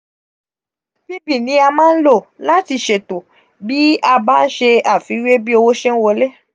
pv ni a maa nlo lati seto bi a ba nse afiwe bi owo se nwole.